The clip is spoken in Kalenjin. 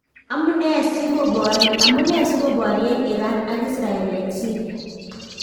Amunee sikoboryeen Iran ak Israel en Syria